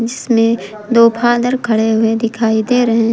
जिसमें दो फादर खड़े हुए दिखाई दे रहे हैं।